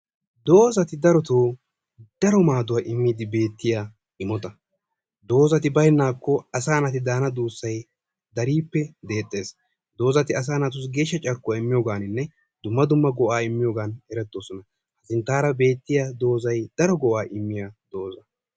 Dozati daroto daro maaduwa immiddi beettiya imota. Doozati bayinnaakko asaa naati daana duussay dariippe deexxees. Doozati asaa naatussi geeshsha carkkuwa immiyoogaaninne dumma dumma go'aa immiyoogan erettoosona. Sinttaara de'iya dozay daro go'aa immiya doza.